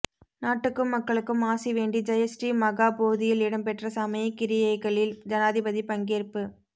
நாட்டுக்கும் மக்களுக்கும் ஆசி வேண்டி ஜயஸ்ரீ மகா போதியில் இடம்பெற்ற சமயக் கிரியைகளில் ஜனாதிபதி பங்கேற்பு